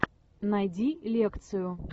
найди лекцию